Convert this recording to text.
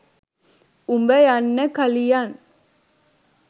උඹ යන්න කලියන්